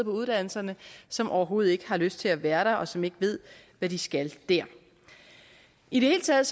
uddannelserne som overhovedet ikke har lyst til at være der og som ikke ved hvad de skal der i det hele taget